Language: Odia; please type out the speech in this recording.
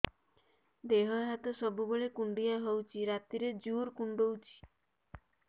ଦେହ ହାତ ସବୁବେଳେ କୁଣ୍ଡିଆ ହଉଚି ରାତିରେ ଜୁର୍ କୁଣ୍ଡଉଚି